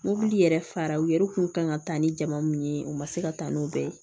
Mobili yɛrɛ fara u yɛrɛ kun kan ka taa ni jamu ye u ma se ka taa n'u bɛɛ ye